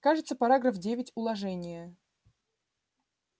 кажется параграф девять уложения